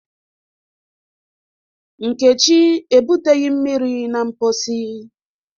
Nkechi ebuteghi mmiri na mposi